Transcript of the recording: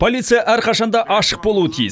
полиция әрқашан да ашық болуы тиіс